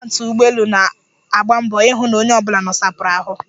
Atendantị ụgbọelu na-agba mbọ ihụ na onye ọbụla nosapụrụ ahụ.